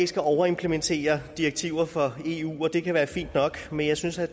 skal overimplementere direktiver fra eu og det kan være fint nok men jeg synes at